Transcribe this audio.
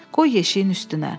Qoy yeşiyin üstünə.